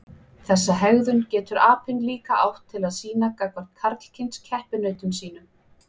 Þessa hegðun getur apinn líka átt til að sýna gagnvart karlkyns keppinautum sínum.